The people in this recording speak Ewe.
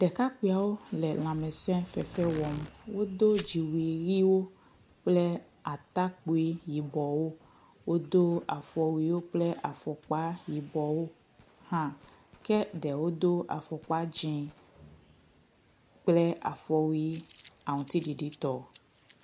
Ɖekakpuiawo le lãmesefefe wɔm. wodo dziwui ʋiwo kple atakpui yibɔwo. Wodo afɔwuiwo kple afɔkpa yibɔwo hã ke ɖewo do afɔkpa dzi kple afɔwui aŋtiɖiɖi tɔ.